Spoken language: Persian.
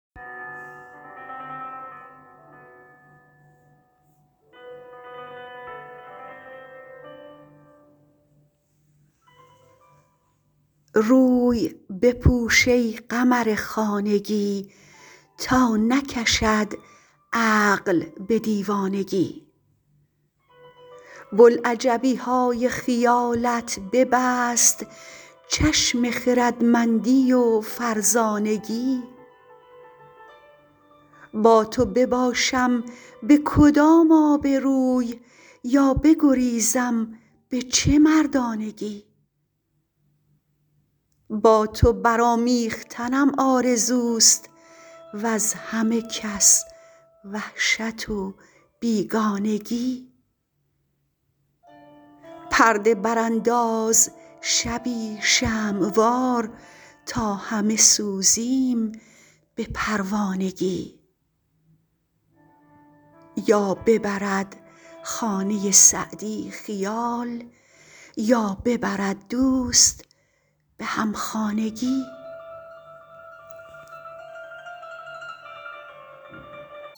روی بپوش ای قمر خانگی تا نکشد عقل به دیوانگی بلعجبی های خیالت ببست چشم خردمندی و فرزانگی با تو بباشم به کدام آبروی یا بگریزم به چه مردانگی با تو برآمیختنم آرزوست وز همه کس وحشت و بیگانگی پرده برانداز شبی شمع وار تا همه سوزیم به پروانگی یا ببرد خانه سعدی خیال یا ببرد دوست به همخانگی